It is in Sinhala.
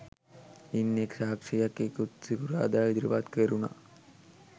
ඉන් එක් සාක්ෂියක් ඉකුත් සිකුරාදා ඉදිරිපත් කෙරුණ